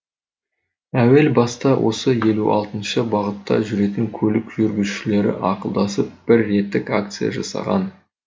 әуел баста осы елу алтыншы бағытта жүретін көлік жүргізушілері ақылдасып бір реттік акция жасаған